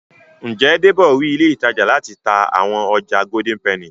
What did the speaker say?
Njé Debo rí ilé ìtajà láti tá àwọn ọjà Golden penny?